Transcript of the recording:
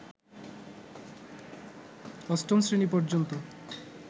অষ্টম শ্রেণী পর্যন্ত